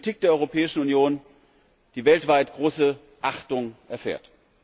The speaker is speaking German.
Das ist eine Politik der Europäischen Union, die weltweit große Achtung erfährt.